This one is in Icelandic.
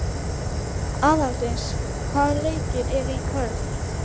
Aðaldís, hvaða leikir eru í kvöld?